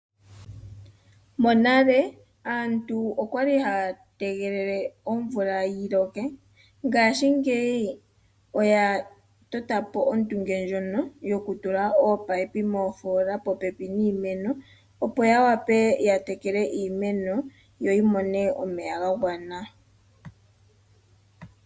Monale aantu okwali haya tegelela omvula yiloke .ngashingeyi oya totapo ondunge ndjono yokutila ominino moofoola popepi niimeno opo ya wape okutekela iimeno yo yimone omeya ga gwana.